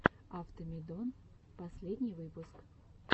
автомедон последний выпуск